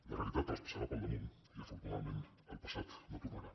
la realitat els passarà pel damunt i afortunadament el passat no tornarà